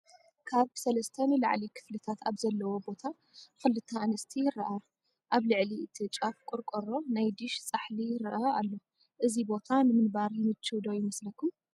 ካብ 3+ ንላዕሊ ክፍልታት ኣብ ዘለዎ ቦታ 2+ ኣንስቲ ይራኣያ፡፡ ኣብ ልዕሊ እቲ ጫፍ ቆርቆሮ ናይ ዲሽ ፃሕሊ ይረአ ኣሎ፡፡ እዚ ቦታ ንምንባር ይመችው ዶይመስለኩም?